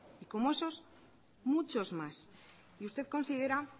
y como esos muchos más y usted considera